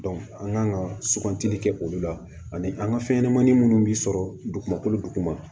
an kan ka sugantili kɛ olu la ani an ka fɛn ɲɛnamanin minnu bɛ sɔrɔ dugukolo duguma